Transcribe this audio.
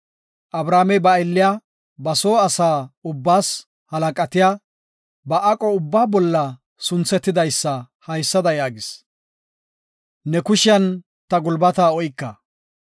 Abrahaamey ba aylliya, ba soo asa ubbaas halaqatiya, ba aqo ubbaa bolla sunthetidaysa haysada yaagis, “Ne kushiyan ta gulbata oyka;